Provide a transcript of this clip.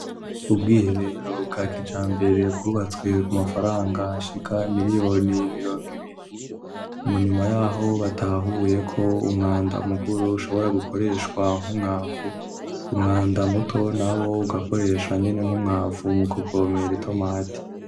Ubwiherero bwa kijambere bwubatswe ku mafaranga ashika miliyoni mirongo ibiri, mu nyuma yaho batahuye ko umwanda mukuru ushobora gukoreshwa nkumwavu umwanda muto na wo ugakoreshwa nyene nkumwavu mu kuvomera itomate.